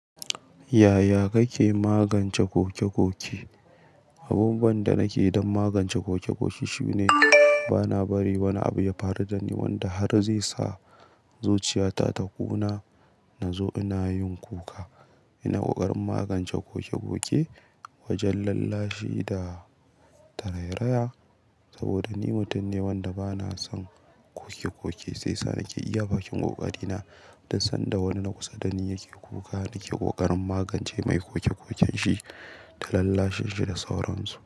Yaya kake magance kokekoke? Abubuwan da nake don magance kokekoke shine bana bari wani abu ya faru dani wanda har zai sa zuciyata ta ƙuna, na zo ina yin kuka. Ina ƙoƙarin magance koke-koke wajan lallashi da tarairaya. Saboda ni mutum ne wanda bana son kokekoke, sai sa nake iya bakin ƙoƙari na don sanda wani na kusa dani yake kuka, nake ƙoƙarin magance mai kokekoken shi ta lallashin shi da sauransu.